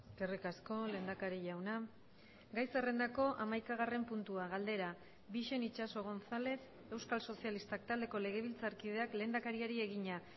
eskerrik asko lehendakari jauna gai zerrendako hamaikagarren puntua galdera bixen itxaso gonzález euskal sozialistak taldeko legebiltzarkideak lehendakariari egina